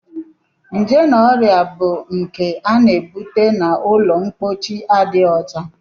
Nje na ọrịa bụ nke a na-ebute n'ụlọmpochi adịghị ọcha